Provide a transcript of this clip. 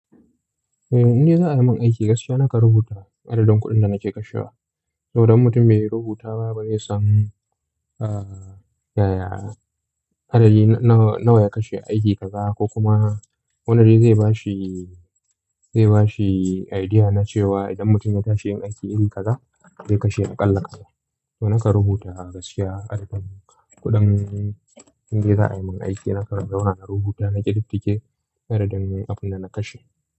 Eh, in dai za a yi mun aiki gaskiya, nakan rubuta adadin kuɗin da nake kashewa. Saboda in mutum bai rubuta ba, bai san, ah, yaya adadi nawa ya kashe aiki kaza ko kuma wane zai ba shi, zai ba shi idea na cewa idan mutum ya tashi yin aiki iri kaza, zai kashe aƙalla. To nakan rubuta gaskiya adadin kuɗin. In dai za a yi mun aiki, naka na rubuta na kididdige adadin abun da na kashe.